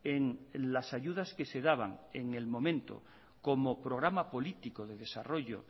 en las ayudas que se daban en el momento como programa político de desarrollo